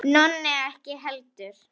Nonni ekki heldur.